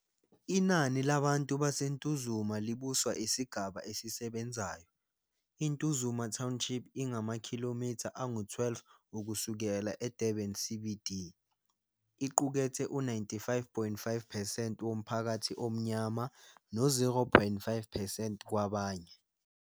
Inani labantu baseNtuzuma libuswa isigaba esisebenzayo. I-Ntuzuma Township ingamakhilomitha angu-12 ukusuka eDurban CBD, iqukethe u-99.5 percent womphakathi omnyama no-0.5 percent kwabanye.